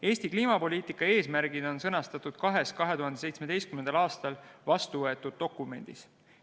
Eesti kliimapoliitika eesmärgid on sõnastatud kahes 2017. aastal vastu võetud dokumendis.